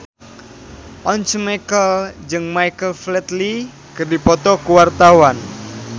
Once Mekel jeung Michael Flatley keur dipoto ku wartawan